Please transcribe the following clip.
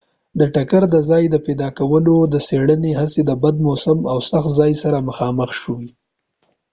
د ټکر د ځای د پیدا کولو د څیړنې هڅې د بد موسم او سخت ځای سره مخامخ شوي